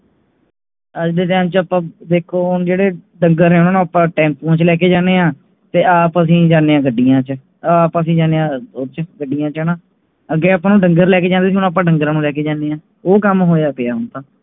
ਅੱਜ ਦੇ time ਆਪ ਵੇਖੋ ਹੁਣ ਜੇੜੇ ਡੰਗਰ ਹੈ ਓਹਨਾ ਨੂੰ ਆਪ ਟੈਮਪੁ ਚੇ ਲੈ ਕੇ ਜਾਣੇ ਹਾਂ ਤੇ ਆਪ ਐਸੀ ਜਾਂਦੇ ਹਾਂ ਉਸ ਚ ਗੱਡੀਆਂ ਚੇ ਹਨ ਅੱਗੇ ਆਪਾ ਨੂੰ ਡੰਗਰਾਂ ਲੈਕੇ ਜਾਂਦੇ ਸੀ ਹੁਣ ਆਪਾ ਡੰਗਰਾਂ ਨੂੰ ਲੈਕੇ ਜਾਣੇ ਆ। ਉਹ ਕੰਮ ਹੋਇਆ ਪਿਆ ਹੁਣ ਤਾ